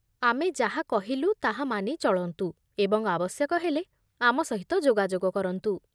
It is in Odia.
ଆମେ ଯାହା କହିଲୁ ତାହା ମାନି ଚଳନ୍ତୁ, ଏବଂ ଆବଶ୍ୟକ ହେଲେ ଆମ ସହିତ ଯୋଗାଯୋଗ କରନ୍ତୁ